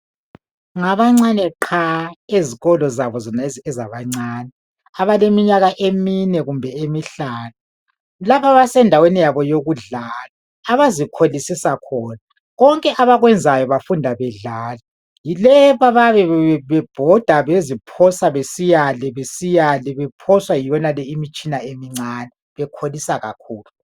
Ngabancane what ezikolo zabo zonezi ezabancane abaleminyaka emine kumbe emihlanu lapha basendaweni yabo yokufundlala abazikholisisa khona konke abakwenzayo bafunda bedlala yileyi lapha bayabe bebhoda beziphosa besiyale bephoswa yiyonale imitshina emincane bekholisa kakhulu